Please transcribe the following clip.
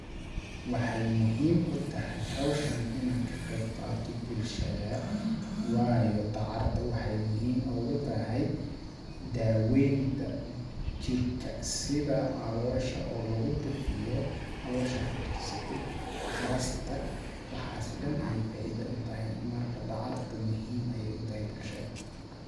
Waxeey muhiim u tahay hawshani inaan ka qeeb qaato bulshada ,waayo dacarta waxeey muhiim oogu tahay daaweynta jirka, sida caloosha oo lagu bixiyo ,caloosha fadhiisate, qarasta ,Waxaasi dhan ayeey faaiida u tahay ,marka dacarta muhiim ayeey u tahay bulshada .